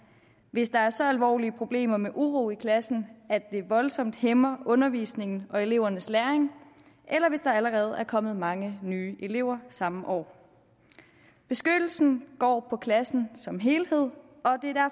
hvis der er så alvorlige problemer med uro i klassen at det voldsomt hæmmer undervisningen og elevernes læring eller hvis der allerede er kommet mange nye elever samme år beskyttelsen går på klassen som helhed